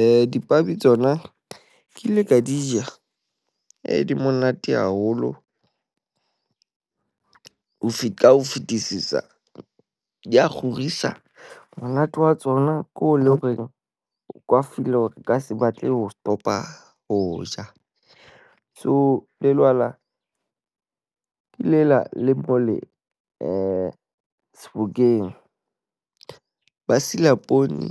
Eh, dipabi tsona ke ile ka di ja. Eh di monate haholo. Ho feta ka ho fetisisa di a kgorisa. Monate wa tsona ko le horeng o kwa file hore o ka se batle ho stop-a ho ja. So lelwala ke lela le mole eh Sebokeng. Ba sila poone,